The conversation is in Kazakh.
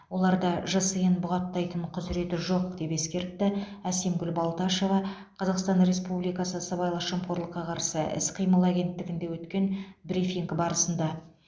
оларда жсн бұғаттайтын құзыреті жоқ деп ескертті әсемгүл балташева қазақстан республикасы сыбайлас жемқорлыққа қарсы іс қимыл агенттігінде өткен брифинг барысында